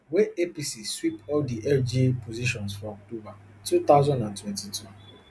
wey apc sweep all di lga positions for october two thousand and twenty-two